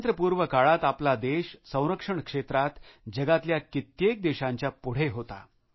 स्वातंत्र्यपूर्व काळात आपला देश संरक्षण क्षेत्रात जगातल्या कित्येक देशांच्या पुढे होता